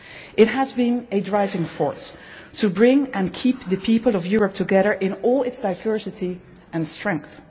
It has been a driving force to bring and keep the people of Europe together in all its diversity and strength.